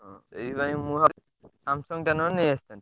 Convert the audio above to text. ହଁ ସେଇଥିପାଇଁ ମୁଁ ଭାବିଥିଲି Samsung ନହେଲେ ନେଇଆସିଥାନ୍ତି।